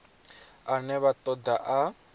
ane vha ṱo ḓa a